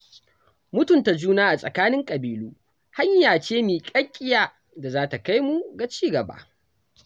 Mutunta juna a tsakanin ƙabilu hanya ce miƙaƙiya da za ta kai mu ga ci gaba.